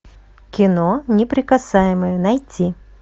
кино неприкасаемые найти